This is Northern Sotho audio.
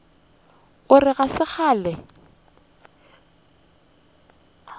o re ga se kgale